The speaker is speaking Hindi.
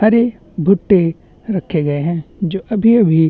हरे भुट्टे रखे गए है जो अभी अभी--